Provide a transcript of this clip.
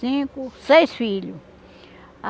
Cinco... Seis filhos.